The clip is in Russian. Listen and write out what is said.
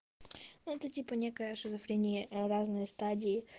это типа некая шизофрения разные стадии